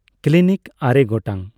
clinic ᱟᱨᱮ ᱜᱚᱴᱟᱝ